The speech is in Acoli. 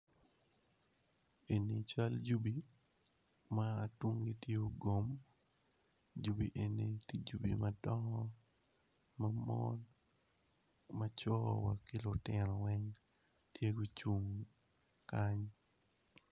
Eni cal jugi ma tunggi tye ogom jugi eni tye jugi madongo ma mon macor wa ki lutino weng tye gucung kany.